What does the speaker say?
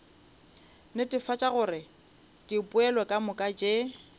netefatša gore dipoelo kamoka tše